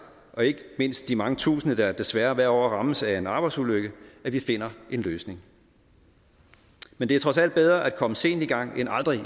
og ikke mindst de mange tusinde der desværre hvert år rammes af en arbejdsulykke at vi finder en løsning men det er trods alt bedre at komme sent i gang end aldrig at